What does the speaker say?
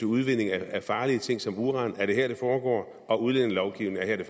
udvindingen af farlige ting som uran er her det foregår og at udlændingelovgivningen er her det